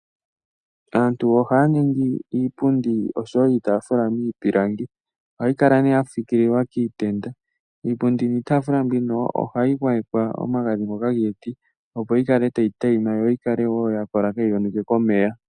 Aantu ohaya ningi iipundi osho woo iitafula miipilangi ohayi kala nee yafikililwa kiitenda. Iipundi niitafula mbino ohayi gwayekwa omagadhi ngoka giiti opo yikale tayi teyima yo yikale woo yakola kayi yonuke komeya.